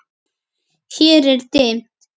Hér er dimmt.